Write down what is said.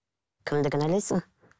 кімді кінәлайсың